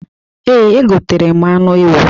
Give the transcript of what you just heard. Ee, egotere m anụ ewu.